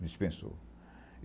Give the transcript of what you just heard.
Dispensou.